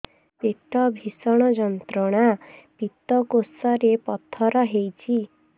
ପେଟ ଭୀଷଣ ଯନ୍ତ୍ରଣା ପିତକୋଷ ରେ ପଥର ହେଇଚି